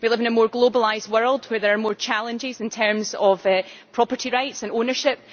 We live in a more globalised world where there are more challenges in terms of property rights and ownership.